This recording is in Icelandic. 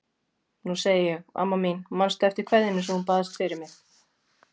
Nú segi ég: Amma mín, manstu eftir kveðjunni sem þú baðst mig fyrir?